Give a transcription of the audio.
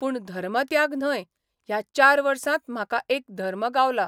पूण धर्मत्याग न्हय ह्या चार वर्सात म्हाका एक धर्म गावला.